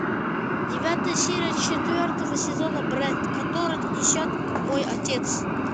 девятая серия четвертого сезона бред который несет мой отец